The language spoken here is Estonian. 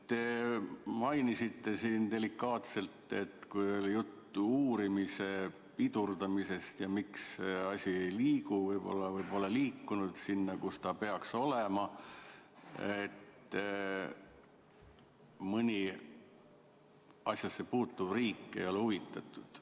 Te mainisite siin delikaatselt, kui oli juttu uurimise pidurdamisest ja miks asi ei liigu või pole liikunud sinna, kuhu peaks, et mõni asjasse puutuv riik ei ole huvitatud.